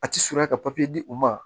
A ti surunya ka di u ma